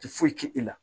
Ti foyi k'i la